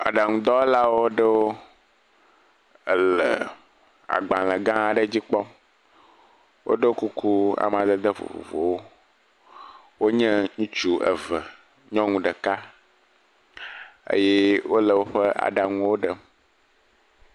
Agbalẽ dɔwɔlawo ɖewo le agbalẽ gã aɖe dzi kpɔm, woɖɔ kuku amadede vovovo, wonye ŋutsu eve, nyɔnu ɖeka, eye wole woƒe aɖaŋuwo ɖem.